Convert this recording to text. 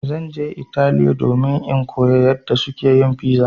Zan je Italiya domin in koya yadda suke yin piza.